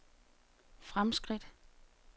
fremskridt